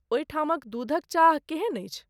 ओहिठामक दूधक चाह केहन अछि?